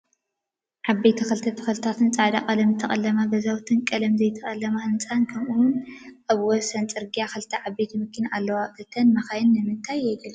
ዓበይቲ ክልተ ተክልታትን ፃዕዳ ቀለም ዝተቀለማ ገዛውትን ቀለም ዘይተቀለመ ህንፃን ከምኡ እውን ኣብ ወሰን ፅርግያ ክልተ ዓበይት መኪና ኣለዋ። እተን መኪና ንምንታይ የገልግላ?